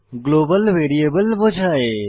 global variable বোঝায়